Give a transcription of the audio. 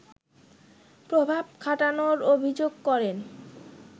প্রভাব খাটানোর অভিযোগ করেন